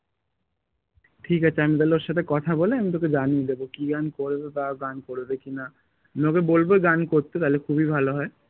ঠিক আছে আমি তাহলে ওর সাথে কথা বলে আমি তোকে জানিয়ে দেব কি গান করবে বা ও গান করবে কি না আমি ওকে বলবো গান করতে তাহলে খুবই ভালো হয়